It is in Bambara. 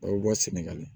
A bɛ bɔ senegali